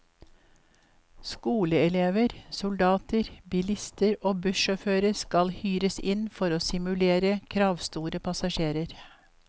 Skoleelever, soldater, bilister og bussjåfører skal hyres inn for å simulere kravstore passasjerer.